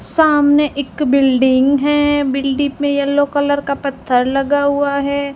सामने एक बिल्डिंग है बिल्डिंग में येलो कलर का पत्थर लगा हुआ है।